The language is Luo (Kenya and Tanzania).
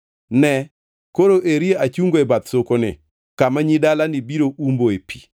Ne, koro eri achungo e bath sokoni, kama nyi dalani biro umboe pi.